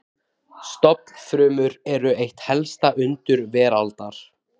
Stofnfrumur eru eitt helsta undur veraldar.